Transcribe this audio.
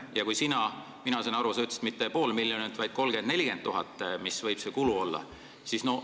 Ma sain aru, et sa ütlesid, et see kulu võib olla mitte pool miljonit, vaid on 30 000 – 40 000.